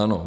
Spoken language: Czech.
Ano.